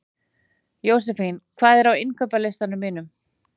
Jósefín, hvað er á innkaupalistanum mínum?